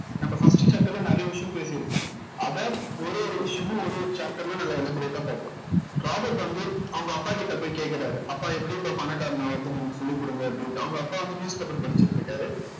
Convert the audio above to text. நம்ம first chapter ல நிறைய விஷயம் பேசியிருப்போம் அதை ஒரு ஒரு விஷயமும் ஒரு ஒரு chapter ல நல்லா elaborate ஆ பார்ப்போம் ராபர்ட் வந்து அவங்க அப்பாகிட்ட போய் கேக்குறாரு அப்பா எப்படிப்பா பணக்காரன் ஆகறது நீங்க சொல்லிக் கொடுங்க அப்படின்ட்டு அவங்க அப்பா வந்து newspaper படிச்சிட்டு இருக்காரு